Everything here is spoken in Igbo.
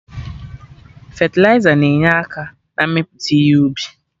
Fetịliza na-enye aka na-mmepụta ihe ubi